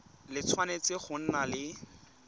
le tshwanetse go nna le